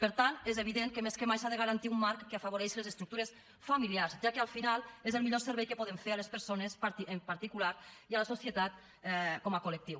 per tant és evident que més que mai s’ha de garantir un marc que afavoreixi les estructures familiars ja que al final és el millor servei que podem fer a les persones en particular i a la societat com a col·lectiu